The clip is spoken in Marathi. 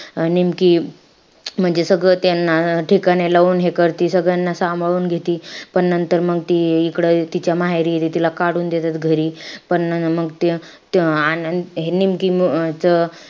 निमकी म्हणजे सगळं त्यांना ठिकाणी लावून हे करती. त्यांना सांभाळून घेती. पण नंतर मंग ती इकडं तिच्या माहेरी येति. तिला काढून देतात घरी. पण मग ते त्या अं निमकी च,